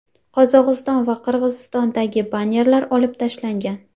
Qozog‘iston va Qirg‘izistondagi bannerlar olib tashlangan.